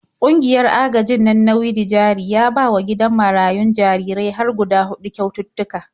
Ƙungiyar agajin nan na Widi-jari ya bawa gidan marayun jarirai har hguda huɗu kyaututtuka.